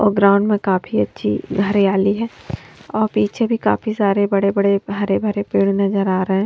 और ग्राउंड में काफी अच्छी हरियाली है और पीछे भी काफी सारे बड़े-बड़े हरे भरे पेड़ नजर आ रहे हैं।